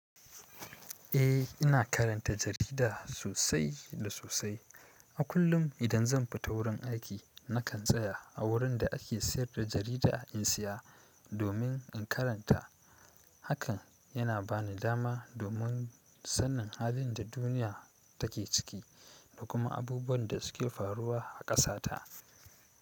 Eh, ina karanta jarida sosai da sosai. A kullum idan zan fita wurin aiki, nakan tsaya a wurin da ake sayar da jarida in saya domin in karanta. Hakan yana ba ni dama domin sanin halin da duniya take ciki da kuma abubuwan da suke faruwa a ƙasata.